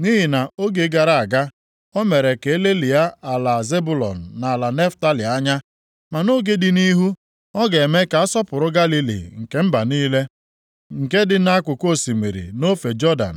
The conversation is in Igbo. Nʼihi na nʼoge gara aga, o mere ka e lelịa ala Zebụlọn na ala Naftalị anya, ma nʼoge dị nʼihu, ọ ga-eme ka a asọpụrụ Galili nke mba niile, nke dị nʼakụkụ osimiri, nʼofe Jọdan.